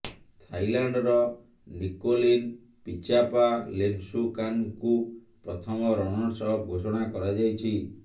ଥାଇଲାଣ୍ଡର Nicolene Pichapa ଲିମସୁକାନ୍ଙ୍କୁ ପ୍ରଥମ ରନର୍ସ ଅପ୍ ଘୋଷଣା କରାଯାଇଛି